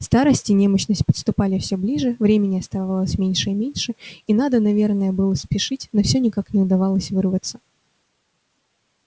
старость и немощность подступали всё ближе времени оставалось меньше и меньше и надо наверное было спешить но всё никак не удавалось вырваться